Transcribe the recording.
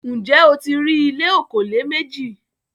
Ǹjẹ́ o ti rí ìlẹ̀ òkòlé mẹjì?